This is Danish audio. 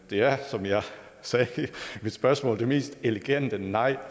det er som jeg sagde i mit spørgsmål det mest elegante nej